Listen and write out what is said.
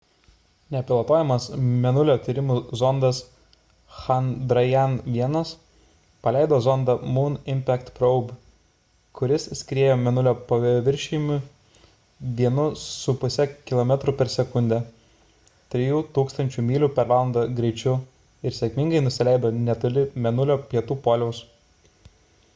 nepilotuojamas mėnulio tyrimų zondas chandrayaan-1 paleido zondą moon impact probe kuris skriejo mėnulio paviršiumi 1,5 kilometrų per sekundę 3 000 mylių per valandą greičiu ir sėkmingai nusileido netoli mėnulio pietų poliaus